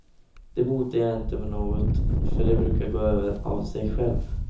Det botar jag inte med något för det brukar gå över av sig själv.